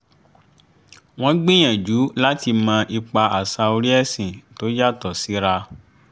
wọ́n gbìyànjú láti mọ ipa àṣà orí ẹ̀sìn tó yàtọ̀ síra